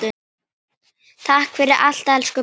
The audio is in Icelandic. Takk fyrir allt elsku pabbi.